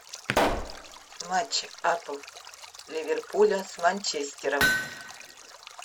матч апл ливерпуля с манчестером